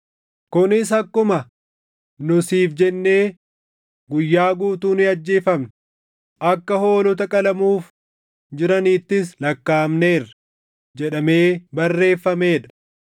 Kunis akkuma, “Nu siif jennee guyyaa guutuu ni ajjeefamna; akka hoolota qalamuuf jiraniittis lakkaaʼamneerra” + 8:36 \+xt Far 44:22\+xt* jedhamee barreeffamee dha.